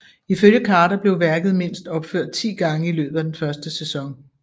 Ifølge Carter blev værket mindst opført ti gange i løbet af den første sæson